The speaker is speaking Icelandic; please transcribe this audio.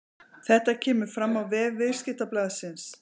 Þetta kemur fram á vef Viðskiptablaðsins